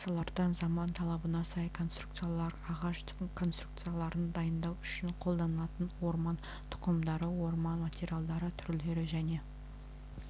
пластмассалардан заман талабына сай конструкциялар ағаш конструкцияларын дайындау үшін қолданылатын орман тұқымдары орман материалдары түрлері және